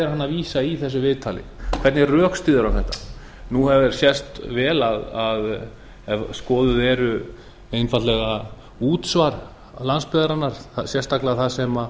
er hann að vísa í í þessu viðtali hvernig rökstyður hann þetta nú hefur sést vel ef skoðuð eru einfaldlega útsvör landsbyggðarinnar sérstaklega þar sem